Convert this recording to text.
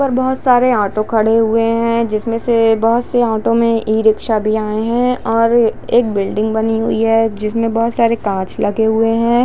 और बहुर सारे ऑटो खड़े हुए हैजिस मे से बहुत सी ऑटो मे ई रिक्शा भी आए है और एक बिल्डिंग बनी हुई है जिस मे बहुत सारे कांच लगे हुए है ।